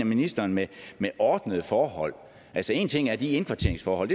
ministeren mener med ordnede forhold altså en ting er de indkvarteringsforhold